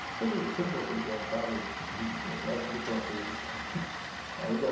Eu sempre, sempre gostei de pegar um carro e e abrir fronteiras. Ainda